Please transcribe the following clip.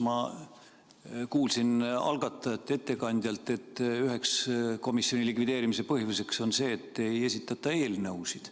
Ma kuulsin algatajate ettekandjalt, et üheks komisjoni likvideerimise põhjuseks on see, et ei esitata eelnõusid.